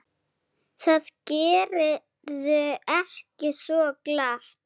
Það gerirðu ekki svo glatt.